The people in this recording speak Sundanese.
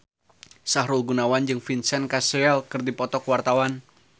Sahrul Gunawan jeung Vincent Cassel keur dipoto ku wartawan